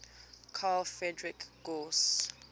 carl friedrich gauss